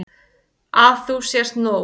Að þú sért nóg.